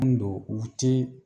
Mun don u ti